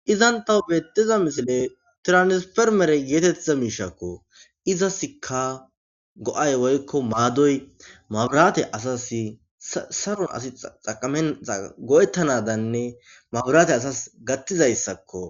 Izantah beettiza misile tiranispermere yeetettiza miishakko izasika go'ay woykko maadoy maburaate asas saron asi aqame go7ettanadanne maburaate asas gattizayssakko.